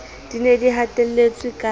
di ne di hatelletswe ka